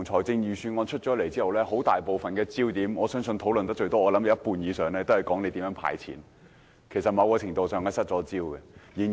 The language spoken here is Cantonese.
自預算案發表後，大部分討論焦點均集中於政府如何"派錢"，我相信某程度上是失焦了。